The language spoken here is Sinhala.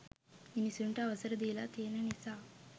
මිනිසුන්ට අවසර දීලා තියෙන නිසා.